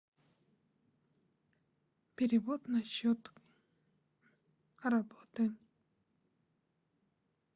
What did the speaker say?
перевод на счет работы